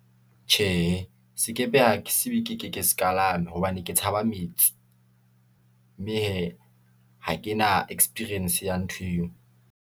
Tjhee, sekepe ha ke siuwe ke se kalame, hobane ke tshaba metsi , mme hee, ha ke na experience ya ntho eo.